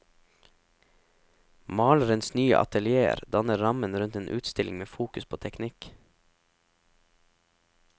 Malerens nye atelier danner rammen rundt en utstilling med fokus på teknikk.